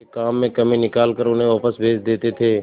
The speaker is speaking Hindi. के काम में कमी निकाल कर उन्हें वापस भेज देते थे